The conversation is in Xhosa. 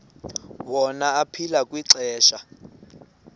wona aphila kwixesha